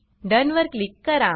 डोन वर क्लिक करा